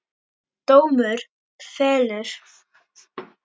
Dómur fellur